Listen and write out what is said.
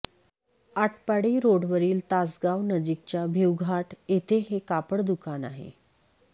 आटपाडी रोडवरील तासगाव नजीकच्या भिवघाट येथे हे कापड दुकान आहे